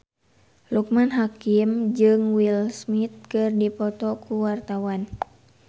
Loekman Hakim jeung Will Smith keur dipoto ku wartawan